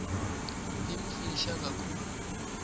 yimfisha kakhulu